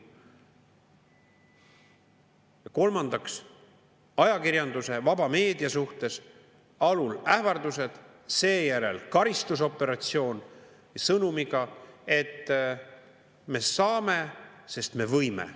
Ja kolmandaks, ajakirjanduse, vaba meedia suhtes alul ähvardused, seejärel karistusoperatsioon sõnumiga "Me saame, sest me võime.